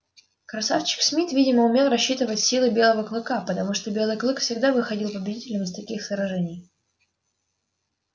красавчик смит видимо умел рассчитывать силы белого клыка потому что белый клык всегда выходил победителем из таких сражений